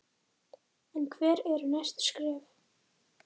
En hver eru næstu skref?